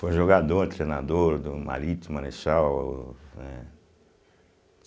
Foi jogador, treinador do Marítimo, Marechal, né?